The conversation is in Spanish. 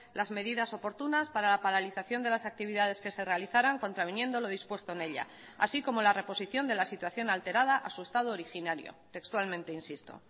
las medidas oportunas para la paralización de las actividades que se realizaran contraviniendo lo dispuesto en ella así como la reposición de la situación alterada a su estado originario textualmente insisto